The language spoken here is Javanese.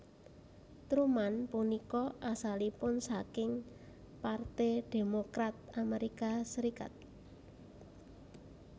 Truman punika asalipun saking Parte Demokrat Amerika Serikat